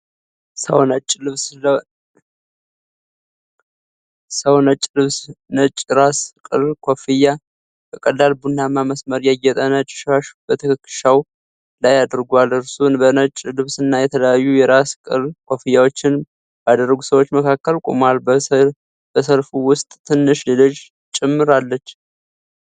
ሰው ነጭ ልብስ፣ ነጭ የራስ ቅል ኮፍያና (kufi) በቀላል ቡናማ መስመር ያጌጠ ነጭ ሻሽ በትከሻው ላይ አድርጓል። እርሱ በነጭ ልብስና የተለያዩ የራስ ቅል ኮፍያዎችን ባደረጉ ሰዎች መካከል ቆሟል፤ በሰልፉ ውስጥ ትንሽ ልጅ ጭምር አለች።